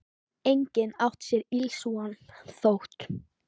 Enginn átti sér ills von, þótt